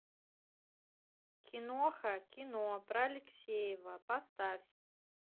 киноха кино про алексеева поставь